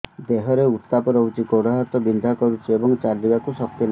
ଦେହରେ ଉତାପ ରହୁଛି ଗୋଡ଼ ହାତ ବିନ୍ଧା କରୁଛି ଏବଂ ଚାଲିବାକୁ ଶକ୍ତି ନାହିଁ